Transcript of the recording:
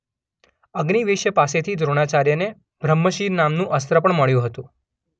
અગ્નિવેશ્ય પાસેથી દ્રોણાચાર્યને બ્રહ્મશિર નામનું અસ્ત્ર પણ મળ્યું હતું.